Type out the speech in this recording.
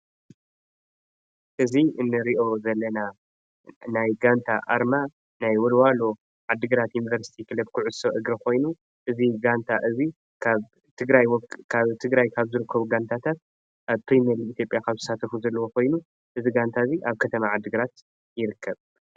እዚ እንሪኦ ዘለና ናይ ጋንታ ኣርማ ናይ ወልዋሎ ዓዲግራት ዩኒቨርሲቲ ክለብ ኩዕሶ እግሪ ኮይኑ እዚ ጋንታ እዚ ካብ ትግራይ ካብ ዝርከቡ ጋንታታት ኣብ ፕሪመርሊግ ኢትዮጵያ ካብዝሳተፉ ኮይኑ እዚ ጋንታ እዚ እብ ከተማ ዓዲግራት ይርከብ።